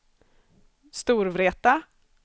Storvreta